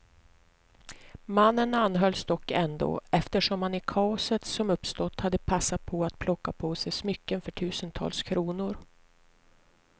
Mannen anhölls dock ändå, eftersom han i kaoset som uppstått hade passat på att plocka på sig smycken för tusentals kronor.